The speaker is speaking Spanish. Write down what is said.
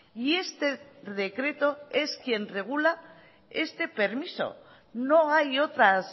y este decreto es quien regula este permiso no hay otras